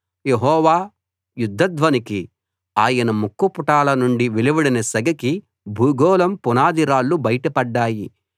యెహోవా యుధ్ధ ధ్వనికి ఆయన ముక్కుపుటాల నుండి వెలువడిన సెగకి భూగోళం పునాది రాళ్లు బయట పడ్డాయి